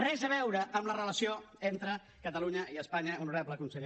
res a veure amb la relació entre catalunya i espanya honorable conseller